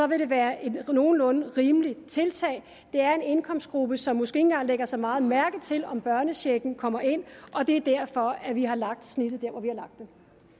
vil være et nogenlunde rimeligt tiltag det er en indkomstgruppe som måske ikke engang lægger så meget mærke til om børnechecken kommer ind og det er derfor at vi har lagt snittet der